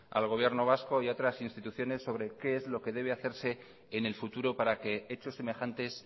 al gobierno vasco y a otras instituciones sobre qué es lo que debe hacerse en el futuro para que hechos semejantes